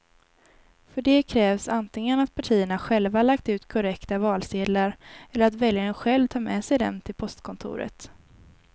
För det krävs antingen att partierna själva lagt ut korrekta valsedlar eller att väljaren själv tar med sig dem till postkontoret.